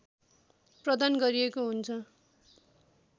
प्रदान गरिएको हुन्छ